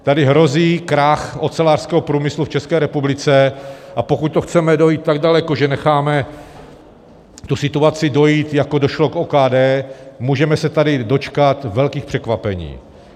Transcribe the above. Tady hrozí krach ocelářského průmyslu v České republice, a pokud to chceme dojít tak daleko, že necháme tu situaci dojít, jako došlo k OKD, můžeme se tady dočkat velkých překvapení.